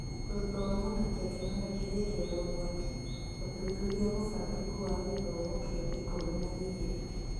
Gũthoma na tekinoronjĩ hĩndĩ ya ũgwati: ũthuthuria mũbangĩku wa gĩthomo kĩa K - ikũmi na-igĩrĩ.